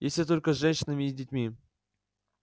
если только с женщинами и детьми